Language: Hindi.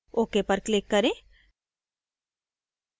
ok पर click करें